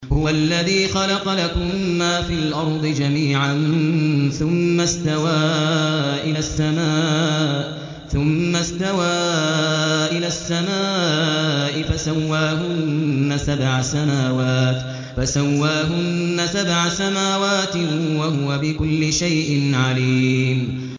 هُوَ الَّذِي خَلَقَ لَكُم مَّا فِي الْأَرْضِ جَمِيعًا ثُمَّ اسْتَوَىٰ إِلَى السَّمَاءِ فَسَوَّاهُنَّ سَبْعَ سَمَاوَاتٍ ۚ وَهُوَ بِكُلِّ شَيْءٍ عَلِيمٌ